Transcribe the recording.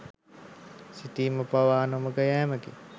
සිතීම පවා නොමඟ යෑමකි.